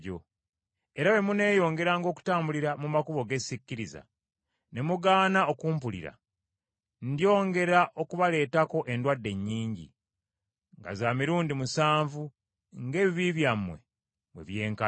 “Era bwe muneeyongeranga okutambulira mu makubo ge sikkiriza, ne mugaana okumpulira, ndyongera okubaleetako endwadde nnyingi nga za mirundi musanvu ng’ebibi byammwe bwe byenkana.